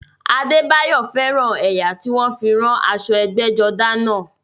Adébáyọ̀ fẹ́ràn ẹ̀yà tí wọ́n fi rán aṣọ ẹgbẹ́jọdá náà